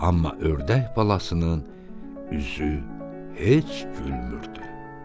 Amma ördək balasının üzü heç gülmürdü.